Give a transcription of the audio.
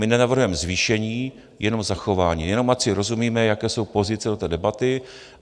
My nenavrhujeme zvýšení, jenom zachování, jenom ať si rozumíme, jaké jsou pozice u té debaty.